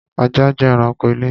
Ajá jẹ́ ẹranko ilé